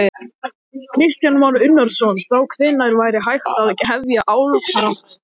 Kristján Már Unnarsson: Þá hvenær væri hægt að hefja álframleiðslu?